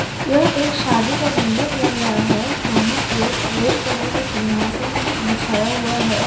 यह एक शादी का मंडप लग रहा है जहां पे रेड कलर का सिंघासन बिछाया हुआ है ।